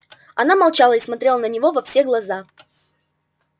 она молчала и смотрела на него во все глаза